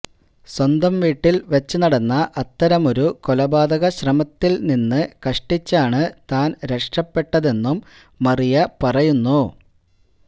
സ്വന്തം വീട്ടില് വച്ചുനടന്ന അത്തരമൊരു കൊലപാതകശ്രമത്തില് നിന്ന് കഷ്ടിച്ചാണ് താന് രക്ഷപ്പെട്ടതെന്നും മറിയ പറയുന്നു